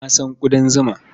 Na san ƙudan zuma.